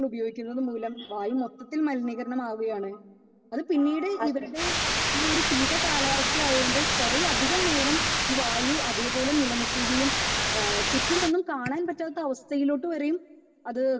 Speaker 2 ഉപയോഗിക്കുന്നത് മൂലം വായു മൊത്തത്തിൽ മലിനീകരണം ആവുകയാണ്. അത് പിന്നീട് ഇവരുടെ ഈ ശീത കാലാവസ്ഥ ആയത് കൊണ്ട് കുറേ അധികാനേരം ഈ വായു അതേപോലെ നിക്കുകയും ചുറ്റും ഒന്നും കാണാൻ പറ്റാത്ത അവസ്ഥയിലോട്ട് വരെയും അത്